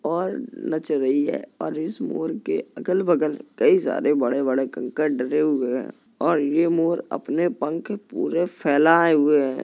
और नच रही है और इस मोर के अगल बगल कई सारे बड़े-बड़े कंकड़ डरे हुए हैं और ये मोर अपने पंख पूरे फैलाये हुए है।